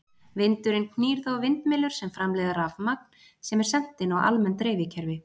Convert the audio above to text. Vindurinn knýr þá vindmyllur sem framleiða rafmagn sem er sent inn á almenn dreifikerfi.